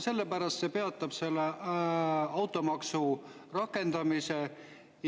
Sellepärast et see peatab automaksu rakendamise.